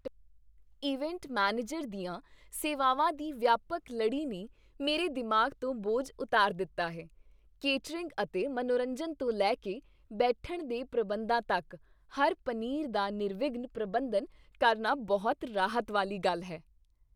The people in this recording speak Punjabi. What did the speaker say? ਇਵੈਂਟ ਮੈਨੇਜਰ ਦੀਆਂ ਸੇਵਾਵਾਂ ਦੀ ਵਿਆਪਕ ਲੜੀ ਨੇ ਮੇਰੇ ਦਿਮਾਗ ਤੋਂ ਬੋਝ ਉਤਾਰ ਦਿੱਤਾ ਹੈ ਕੇਟਰਿੰਗ ਅਤੇ ਮਨੋਰੰਜਨ ਤੋਂ ਲੈ ਕੇ ਬੈਠਣ ਦੇ ਪ੍ਰਬੰਧਾਂ ਤੱਕ, ਹਰ ਪਨੀਰ ਦਾ ਨਿਰਵਿਘਨ ਪ੍ਰਬੰਧਨ ਕਰਨਾ ਬਹੁਤ ਰਾਹਤ ਵਾਲੀ ਗੱਲ ਹੈ